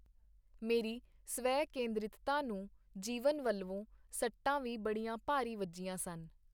ਮੇਰੀ ਸਵੈ-ਕੇਂਦਰਿਤਤਾ ਨੂੰ ਜੀਵਨ ਵਲਵੋਂ ਸੱਟਾਂ ਵੀ ਬੜੀਆਂ ਭਾਰੀ ਵੱਜੀਆਂ ਸਨ.